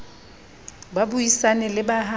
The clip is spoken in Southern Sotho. ba buisane le ba ha